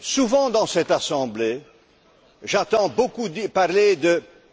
Souvent, dans cette Assemblée, j'entends beaucoup parler